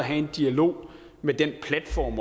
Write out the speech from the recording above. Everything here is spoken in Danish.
har en dialog med den platform